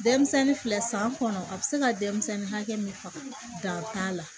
Denmisɛnnin filɛ san kɔnɔ a bɛ se ka denmisɛnnin hakɛ min faga dan t'a la